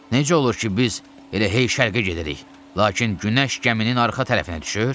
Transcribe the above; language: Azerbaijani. "Necə olur ki, biz elə hey şərqə gedirik, lakin günəş gəminin arxa tərəfinə düşür?"